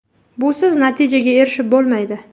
Busiz natijaga erishib bo‘lmaydi.